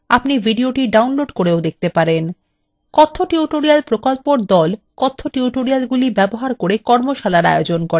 কথ্য tutorial প্রকল্পর the কথ্য টিউটোরিয়ালগুলি ব্যবহার করে কর্মশালার আয়োজন করে যারা অনলাইন পরীক্ষা পাস করে তাদের সার্টিফিকেট দেয়